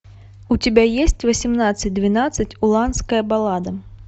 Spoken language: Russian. у тебя есть восемнадцать двенадцать уланская баллада